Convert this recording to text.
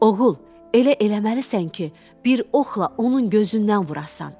Oğul, elə eləməlisən ki, bir oxla onun gözündən vurasan.